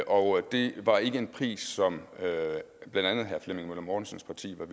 og det var ikke en pris som blandt andet herre flemming møller mortensens